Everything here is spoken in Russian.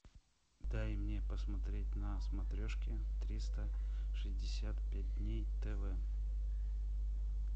дай мне посмотреть на смотрешке триста шестьдесят пять дней тв